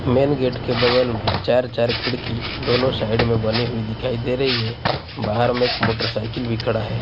Main gate के बगल में चार चार खिड़की दोनों साइड में बनी हुई दिखाई दे रही है बाहर में एक मोटरसाइकिल भी खड़ा है।